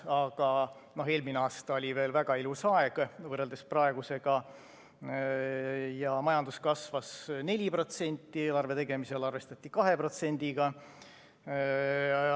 Aga eelmine aasta oli veel väga ilus aeg võrreldes praegusega: majandus kasvas 4%, eelarve tegemisel arvestati 2%-ga.